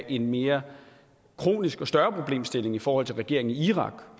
en mere kronisk og større problemstilling i forhold til regeringen i irak